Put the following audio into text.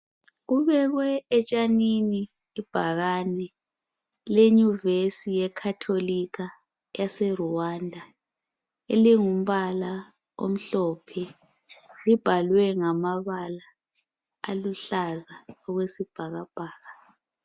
Kubekwe etshanini ibhakani lenyuvesi ekatholikha aseRwanda elingumbala olimhlophe. Libhalwe lamabala uluhlaza okwesbhakabhaka.